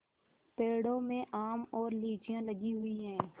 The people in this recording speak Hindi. पेड़ों में आम और लीचियाँ लगी हुई हैं